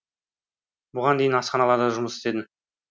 бұған дейін асханаларда жұмыс істедім